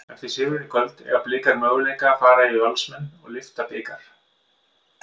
Eftir sigurinn í kvöld, eiga Blikar möguleika fara yfir Valsmenn og lyfta bikar?